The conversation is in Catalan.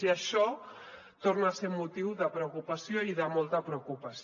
i això torna a ser motiu de preocupació i de molta preocupació